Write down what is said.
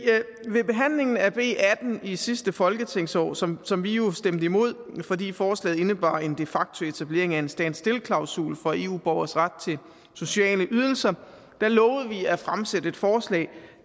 ved behandlingen af b atten i sidste folketingsår som som vi jo stemte imod fordi forslaget indebar en de facto etablering af en stand still klausul for eu borgeres ret til sociale ydelser lovede vi at fremsætte et forslag